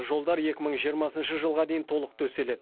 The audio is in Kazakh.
жолдар екі мың жиырмасыншы жылға дейін толық төселеді